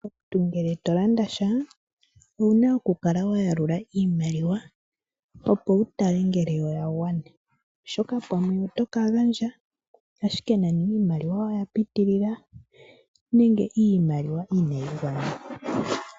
Omuntu ngele tolandasha owuna okukala wayalula iimaliwa opo wutale ngele oyagwana, oshoka pamwe otokagandja ashike nani iimaliwa oyapitilila nenge iimaliwa inayi gwana.